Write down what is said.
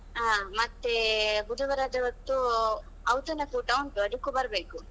ಹಾ ಮತ್ತೆ ಬುಧವಾರದ ಹೊತ್ತು ಔತಣಕೂಟ ಉಂಟು ಅದಕ್ಕೂ ಬರ್ಬೇಕು.